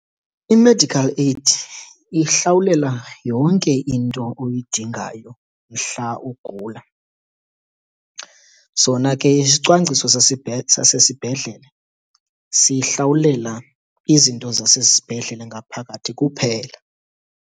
I-medical aid ihlawulela yonke into oyidingayo mhla ugula. Sona ke isicwangciso sasesibhedlele sihlawulela izinto zasesibhedlele ngaphakathi kuphela.